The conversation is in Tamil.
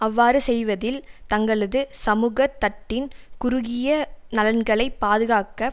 அவ்வாறு செய்வதில் தங்களது சமூக தட்டின் குறுகிய நலன்களை பாதுகாக்க